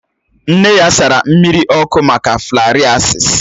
Nne ya sara mmiri ọkụ maka flarịasis